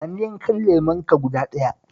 Ba ni yankan lemonka guda ɗaya